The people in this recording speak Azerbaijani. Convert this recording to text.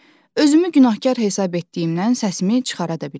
Özümü günahkar hesab etdiyimdən səsimi çıxara da bilmədim.